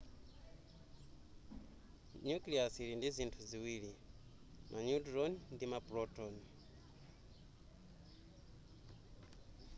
nucleus ili ndizinthu ziwiri ma neutron ndi ma proton